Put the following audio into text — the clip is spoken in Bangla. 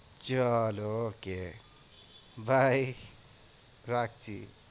চল okay bye রাখছি?